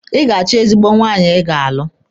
Ị ga-acho ezigbo nwaanyị Ị ga-alụ.